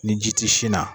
Ni ji ti sin na